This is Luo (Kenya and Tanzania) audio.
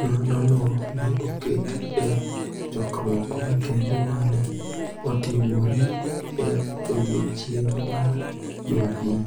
Nonrono ne oket e chokruok makende ma ne otimore e odiechieng� mar Jumapil,